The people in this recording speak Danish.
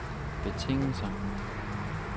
betingelser